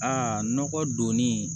Aa nɔgɔ donni